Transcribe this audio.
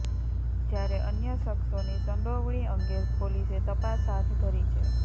જ્યારે અન્ય શખ્સોની સંડોવણી અંગે પોલીસે તપાસ હાથ ધરી છે